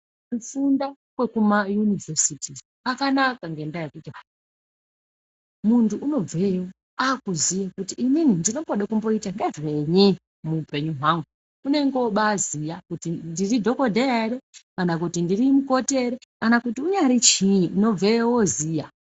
Kufunda kwekumayunivhesiti kwakanaka nendaa yekuti muntu akubveyo unoziye kuti inini ndinomboda kuita ngezveyi muupenyu hwangu. Unongoba ziya kuti ndiri dhogodheya ere, kana kuti ndiri mukoti ere kana kuti unyari chiini unobveyo voziya.